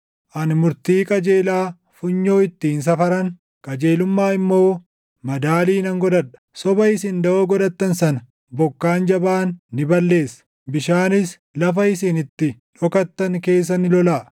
Ani murtii qajeelaa funyoo ittiin safaran, qajeelummaa immoo madaalii nan godhadha; soba isin daʼoo godhattan sana bokkaan jabaan ni balleessa; bishaanis lafa isin itti dhokattan keessa ni lolaʼa.